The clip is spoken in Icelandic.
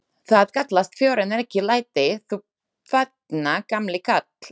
Það kallast fjör en ekki læti, þú þarna gamli karl.